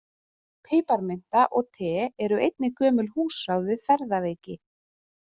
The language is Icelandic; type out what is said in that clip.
Piparmynta og te eru einnig gömul húsráð við ferðaveiki.